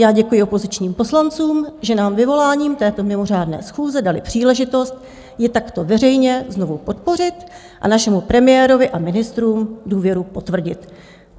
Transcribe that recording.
Já děkuji opozičním poslancům, že nám vyvoláním této mimořádné schůze dali příležitost ji takto veřejně znovu podpořit a našemu premiérovi a ministrům důvěru potvrdit.